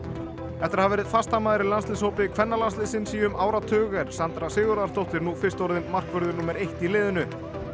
eftir að hafa verið fastamaður í landsliðshópi kvennalandsliðsins í um áratug er Sandra Sigurðardóttir nú fyrst orðin markvörður númer eitt í liðinu